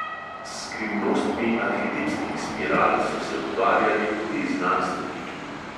S skrivnostmi arhetipskih spiral so se ukvarjali tudi znanstveniki.